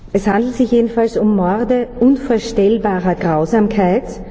Es handelt sich jedenfalls um Morde von unvorstellbarer Grausamkeit.